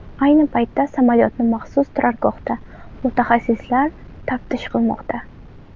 Ayni paytda samolyotni maxsus turargohda mutaxassislar taftish qilmoqda.